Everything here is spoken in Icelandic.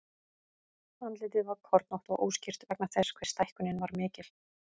Andlitið var kornótt og óskýrt vegna þess hve stækkunin var mikil.